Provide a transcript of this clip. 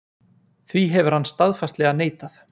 Því hefur hann staðfastlega neitað